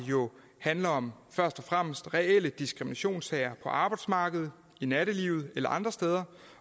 handler jo først og fremmest om reelle diskriminationssager på arbejdsmarkedet i nattelivet eller andre steder